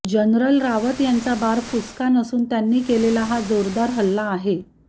general Rawat यांचा बार फुसका नसून त्यांनी केलेला हा जोरदार हल्ला आहे